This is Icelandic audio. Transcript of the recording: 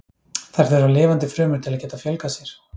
Þær þurfa lifandi frumur til að geta fjölgað sér.